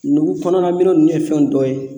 Nugu kɔnɔna minɛn ninnu ye fɛn dɔ ye